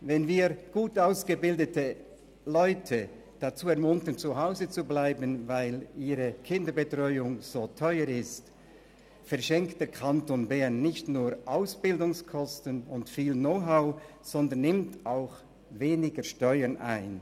Wenn wir gut ausgebildete Leute dazu ermuntern, zu Hause zu bleiben, weil ihre Kinderbetreuung so teuer ist, verschenkt der Kanton Bern nicht nur Ausbildungskosten und viel Know-how, sondern nimmt auch weniger Steuern ein.